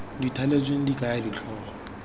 di thaletsweng di kaya ditlhogo